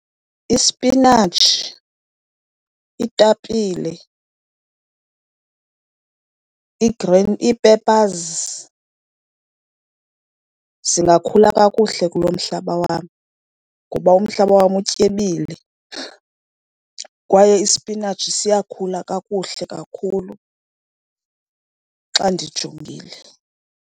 Ispinatshi, iitapile, ii-green ii-peppers, zingakhula kakuhle kulo mhlaba wam ngoba umhlaba wam utyebile, kwaye ispinatshi siyakhula kakuhle kakhulu xa ndijongile.